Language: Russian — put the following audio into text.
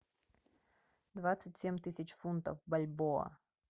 двадцать семь тысяч фунтов в бальбоа